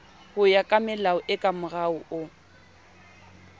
hoya kamelao e kamorao no